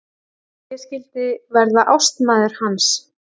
Ég skyldi verða ástmaður hans!